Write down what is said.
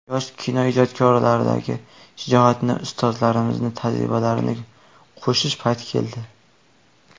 Yosh kinoijodkorlardagi shijoatga ustozlarimizni tajribalarini qo‘shish payti keldi.